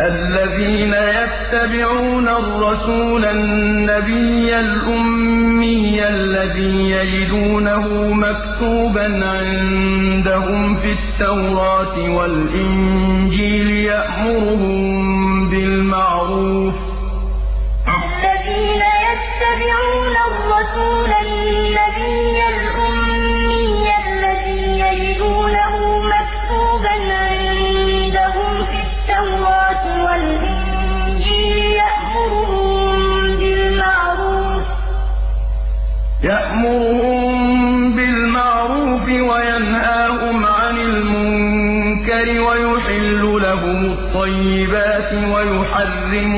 الَّذِينَ يَتَّبِعُونَ الرَّسُولَ النَّبِيَّ الْأُمِّيَّ الَّذِي يَجِدُونَهُ مَكْتُوبًا عِندَهُمْ فِي التَّوْرَاةِ وَالْإِنجِيلِ يَأْمُرُهُم بِالْمَعْرُوفِ وَيَنْهَاهُمْ عَنِ الْمُنكَرِ وَيُحِلُّ لَهُمُ الطَّيِّبَاتِ وَيُحَرِّمُ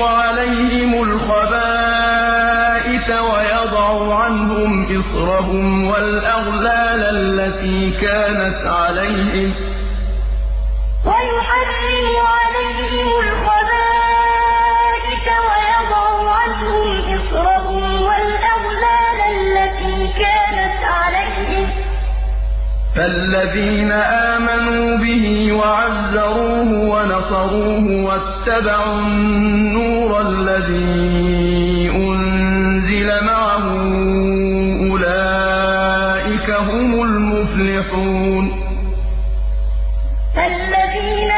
عَلَيْهِمُ الْخَبَائِثَ وَيَضَعُ عَنْهُمْ إِصْرَهُمْ وَالْأَغْلَالَ الَّتِي كَانَتْ عَلَيْهِمْ ۚ فَالَّذِينَ آمَنُوا بِهِ وَعَزَّرُوهُ وَنَصَرُوهُ وَاتَّبَعُوا النُّورَ الَّذِي أُنزِلَ مَعَهُ ۙ أُولَٰئِكَ هُمُ الْمُفْلِحُونَ الَّذِينَ يَتَّبِعُونَ الرَّسُولَ النَّبِيَّ الْأُمِّيَّ الَّذِي يَجِدُونَهُ مَكْتُوبًا عِندَهُمْ فِي التَّوْرَاةِ وَالْإِنجِيلِ يَأْمُرُهُم بِالْمَعْرُوفِ وَيَنْهَاهُمْ عَنِ الْمُنكَرِ وَيُحِلُّ لَهُمُ الطَّيِّبَاتِ وَيُحَرِّمُ عَلَيْهِمُ الْخَبَائِثَ وَيَضَعُ عَنْهُمْ إِصْرَهُمْ وَالْأَغْلَالَ الَّتِي كَانَتْ عَلَيْهِمْ ۚ فَالَّذِينَ آمَنُوا بِهِ وَعَزَّرُوهُ وَنَصَرُوهُ وَاتَّبَعُوا النُّورَ الَّذِي أُنزِلَ مَعَهُ ۙ أُولَٰئِكَ هُمُ الْمُفْلِحُونَ